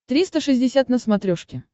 триста шестьдесят на смотрешке